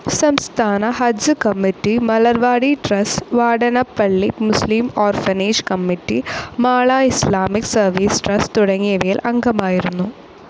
സംസ്ഥാന ഹജ്ജ്‌ committee, Malarvadi trust, Vadanappally മുസ്ലിം orphanage committee, Mala Islamic service trust തുടങ്ങിയവയിൽ അംഗമായിരുന്നു.